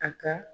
A ka